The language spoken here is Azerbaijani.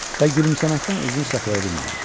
Və gülümsəməkdən özünü saxlaya bilmədi.